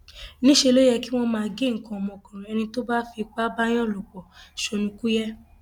níṣẹ ló yẹ kí wọn máa gé nǹkan ọmọkùnrin ẹni tó bá fipá báàyàn lò pọ sọnùkuye